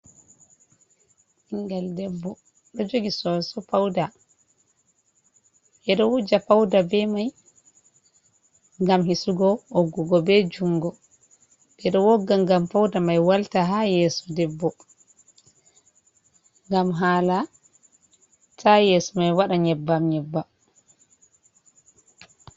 Ɓingal debbo ɗo jogi soso pauda. Ɓedo wuja pauda be mai ngam hisugo woggugo be jungo. Ɓedo wogga ngam pauda mai walta ha yeso debbo, ngam hala ta yeso mai wada nyebbam-nyebbam.